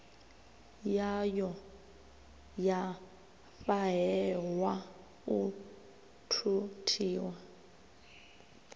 yayo ya fhahehwa u thuthiwa